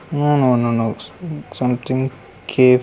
no no no something cafe --